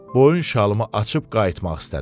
Boyun şalımı açıb qayıtmaq istədim.